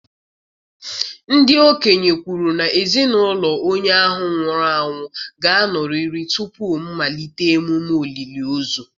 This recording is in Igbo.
Ndị okenye kwuru na ezinụlọ onye ahụ nwụrụ anwụ ga-anọrịrị tupu mmalite emume olili ozu